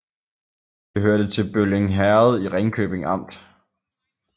Det hørte til Bølling Herred i Ringkøbing Amt